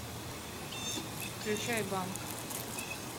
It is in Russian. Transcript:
включай банк